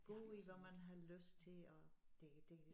Gå i hvad man har lyst til og det det